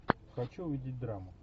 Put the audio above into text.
хочу увидеть драму